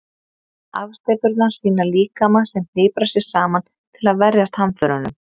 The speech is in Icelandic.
Afsteypurnar sýna líkama sem hniprar sig saman til að verjast hamförunum.